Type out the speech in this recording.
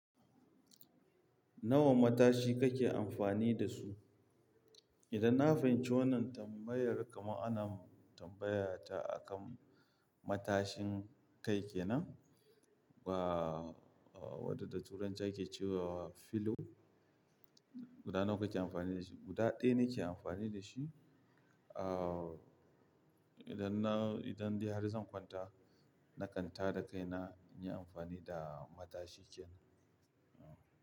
Nawa matashi kake amfani da su? Idan na fahimci wannan tambayar kaman ana tambayata akan matashin kai kenan? Ba waɗanda da Turanci ake cewa pillow guda nawa kake amfani da shi. Guda ɗaya nake amfani da shi. Ah, idan na, idan dai har zan kwanta, na kan tada kai na, in yi amfani da matashi kenan.